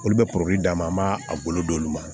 Olu bɛ d'a ma an b'a a bolo d'olu ma